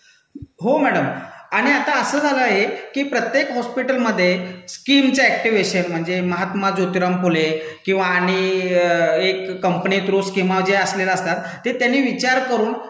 हो मैडम. आणि आता असं झालं आहे की प्रत्येक हॉस्पिटलमधे स्कीमचं अॅक्टिवेशन म्हणजे महात्मा ज्योतिराम फुले किंवा आणि एक कंपनी थ्रू स्किमा ज्या असलेल्या असतात ते त्यांनी विचार करून